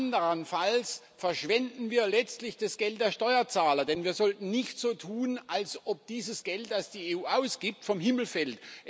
Andernfalls verschwenden wir letztlich das Geld der Steuerzahler, denn wir sollten nicht so tun, als ob dieses Geld, das die EU ausgibt, vom Himmel fällt.